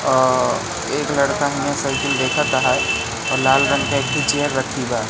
एक लड़का सामने देखत है और लाल रंग की चेयर रखी हैं।